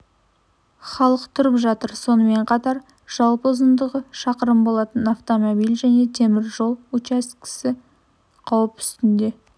халық тұрып жатыр сонымен қатар жалпы ұзындығы шақырым болатын автомобиль және теміржол учаскесі қауіп үстінде